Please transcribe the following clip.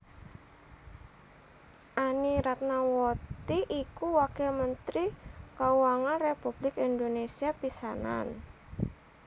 Anny Ratnawati iku Wakil Mentri Kauangan Republik Indonésia pisanan